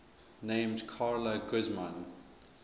named carla guzman